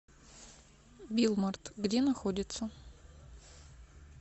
билмарт где находится